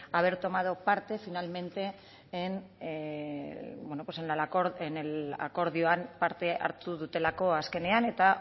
haber tomado parte finalmente akordioan parte hartu dutelako azkenean eta